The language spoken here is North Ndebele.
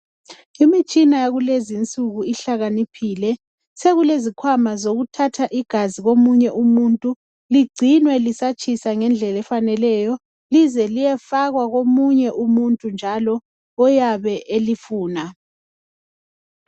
Imitshina yakulezi insuku ihlakaniphile sokulezikhwama zokuthatha igazi komunye umuntu lingcinwe lisatshisa ngendlela efaneleyo lize liyefakwa komunye umuntu njalo oyabe elifuna.